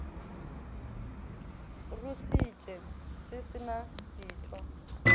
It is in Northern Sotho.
rusitše se se na ditho